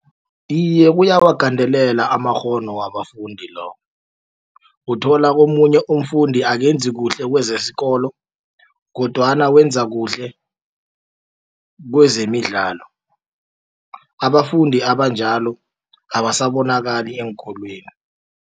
Iye kuyawagandelela amakghono wabafundi lokho uthola omunye umfundi akenzi kuhle kwezesikolo kodwana wenza kuhle kwezemidlalo abafundi abanjalo abasabonakala eenkolweni.